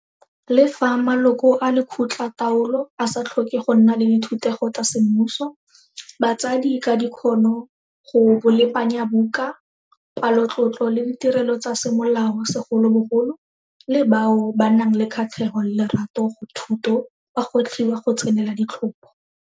Le fa maloko a lekgotlataolo a sa tlhoke go nna le dithutego tsa semmuso, batsadi ka dikgono go bolepanyabuka, palotlotlo le ditirelo tsa semolao segolobogolo, le bao ba nang le kgatlhego le lerato go thuto ba gwetlhiwa go tsenela ditlhopho.